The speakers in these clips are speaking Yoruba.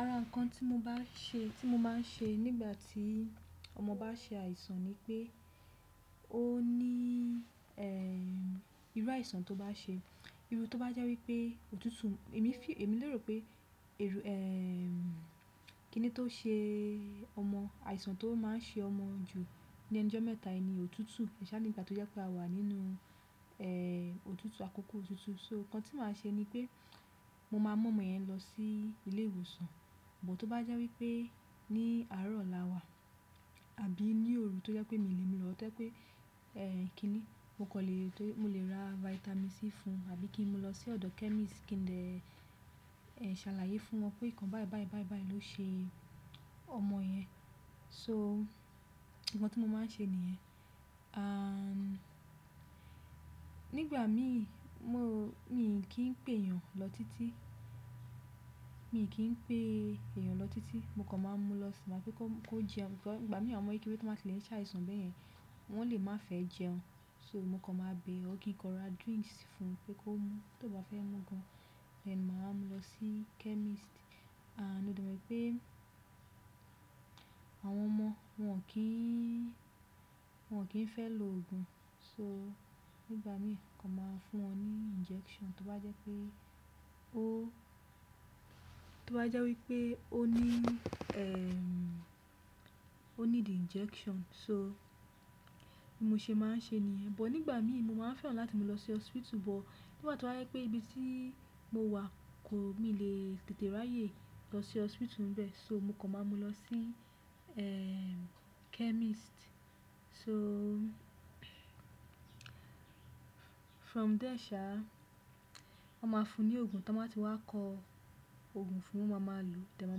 Ara nǹkan tí mo bá ṣe tí mo máa ń ṣe nígbà tí ọmọ bá ṣe àìsàn ni pé ó ní irú àìsàn tó bá ṣe, irú tó bá jẹ́ wípé òtútù, èmi fi èmi lérò pé ero kíni tó ṣe ọmọ àìsàn tó máa ń ṣe ọmọ jù ní ẹnujọ́ mẹ́ta yi ni òtútù. Ẹṣá nígbà tó jẹ́ pé a wà nínú òtútù àkókò òtútù so nǹkan tí màá ṣe ni pé mo máa mú ọmọ yẹn lọ sí ilé ìwòsàn. Bọ tó bá jẹ́ wípé ní àárọ̀ la wa àbí ní òru tó jẹ́ pé mi o le mu lọ ọ to jẹ pé kíni mo kọ̀ lè tó mo lè ra vitamin C fún un àbí kí n mó lọ sí ọ̀dọ̀ chemist kí n dẹ ṣàlàyé fún wọn pé nǹkan báì báì báì báì ló ṣe ọmọ yẹn. So nǹkan tí mo máa ń ṣe nìyẹn. Nígbà mí mo mi kì í pè èèyàn lọ títí, mi kì í pè èèyàn lọ títí. Mo kàn máa ń mú lọ sí máa fẹ́ kó kó jẹun. Bikọ ígbà mìí àwọn ọmọ kékeré tan ba ti le ṣàìsàn bẹ́ẹ̀ yẹn, wọ́n lè má fẹ́ jẹun. So mo kàn máa bẹ̀ ọ́ kí n kan ra drinks fún un pé kó mú. Tó bá fẹ́ mú gan-an, máa mú lọ sí chemist. Mo dẹ wi pe àwọn ọmọ wọ́n ki n wọn ki n fẹ lo ogun so nígbà mi kàn máa fún wọn ní injection tó bá jẹ́ pé o tó bá jẹ́ wípé ó ní ó ní di injection so bí mo ṣe máa ń ṣe nìyẹn. Bọ̀ nígbà mi mo máa fẹ́ràn láti mú lọ sí hospital bọ̀ nígbà tó bá jẹ́ pé ibi tí mo wà kò mi lè tètè ráyè lọ sí hospital ńbẹ. So mo kàn máa mú lọ sí eh chemist. So from there ṣa wọn ma fún ni ogun tan ba ti wa kọ ogun fún o ma ma lo de maa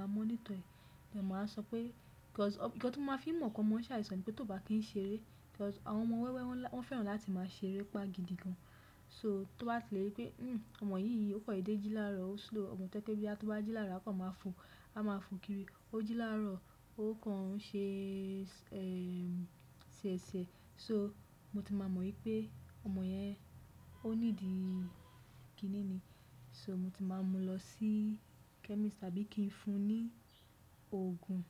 maa monitor e, a de maa so pe-- cause nǹkan ton ma fi n mo pe ọmọ n se àìsàn ni pe ton ba kin ṣeré, cause àwọn ọmọ wewe won fẹ́ràn láti maa ṣeré gidi gan so tó bá tlẹ̀ rípé "hhm ọmọ yìí yí ò kan dedé jí láarọ̀, ó slow" ọ̀mọ̀ to je pe boya tó bá jí lárọ̀ a kàn máa fọ̀, a máa fọ̀ kiri. Ó jí lárọ̀ ó kàn ń ṣe siẹ̀siẹ̀. So mo ti maa mo wípé, ọmọ yen o need kini ni so mo ti máa mú lọ sí chemist àbí kí n fún un ní òògùn.